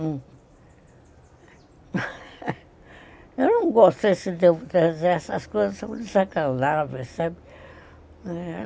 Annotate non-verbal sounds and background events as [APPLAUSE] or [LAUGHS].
Uhum, [LAUGHS] Eu não gostei, se devo dizer, essas coisas são desagradáveis, sabe?